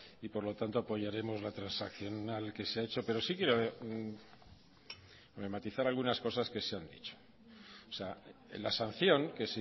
y por lo tanto apoyaremos la transaccional que se ha hecho pero sí quiero matizar algunas cosas que se han dicho o sea en la sanción que